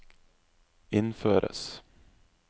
innføres